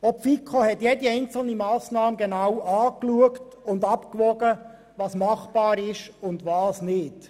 Auch die FiKo hat jede einzelne Massnahme genau angeschaut und abgewogen, was machbar ist und was nicht.